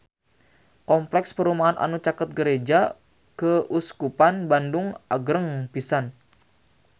Kompleks perumahan anu caket Gereja Keuskupan Bandung agreng pisan